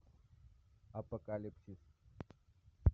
апокалипсис